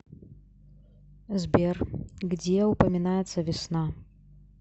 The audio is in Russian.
сбер где упоминается весна